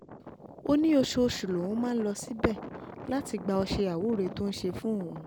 ó ní oṣooṣù lòun máa ń lọ síbẹ̀ láti gba ọṣẹ àwúrẹ́ tó ń ṣe fún òun